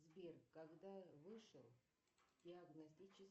сбер когда вышел диагностический